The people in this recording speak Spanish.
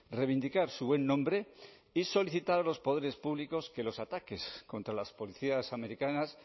reivindicar su buen nombre y solicitar a los poderes públicos que los ataques contra las policías americanas